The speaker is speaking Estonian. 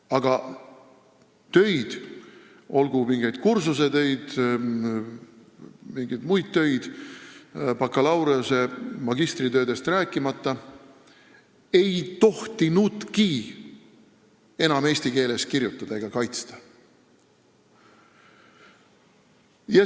Aga töid, kursusetöid, mingeid muid töid, bakalaureusetöid, magistritöödest rääkimata, ei tohtinudki enam eesti keeles kirjutada ega kaitsta.